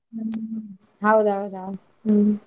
ಹ್ಮ್ ಹೌದೌದಾ ಹ್ಮ್.